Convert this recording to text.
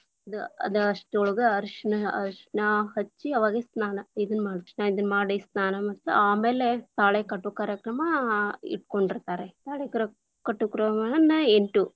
ಇದ ಅದ ಅಷ್ಟರೊಳಗ ಅರಿಶಿಣ, ಅರಿಶಿಣ ಹಚ್ಚಿ ಅವಾಗ ಸ್ನಾನ ಇದನ್ನ ಮಾಡ್ತೀವಿ, ಇದನ್ನ ಮಾಡಿ ಸ್ನಾನ ಮಾಡಿತಿ ಆಮೇಲೆ ತಾಳೆಕಟ್ಟು ಕಾರ್ಯಕ್ರಮ ಇಟ್ಕೊಂಡಿರ್ತಾರೆ, ತಾಳೆಕಟ್ಟು ಕಾರ್ಯಕ್ರಮವನ್ನು ಎಂಟು.